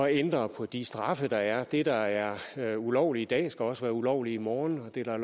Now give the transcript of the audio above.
at ændre på de straffe der er det der er er ulovligt i dag skal også være ulovligt i morgen og det der er